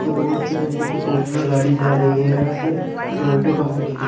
यहां पर रोड से देखो एक फॉर्च्यूनर गाड़ी जा रही है यहां से टोयोटा कंपनी की।